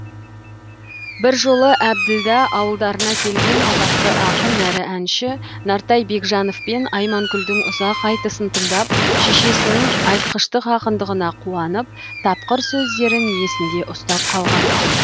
бір жолы әбділда ауылдарына келген атақты ақын әрі әнші нартай бегежановпен айманкүлдің ұзақ айтысын тыңдап шешесінің айтқыштық ақындығына қуанып тапқыр сөздерін есінде ұстап қалған